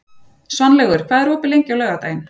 Svanlaugur, hvað er opið lengi á laugardaginn?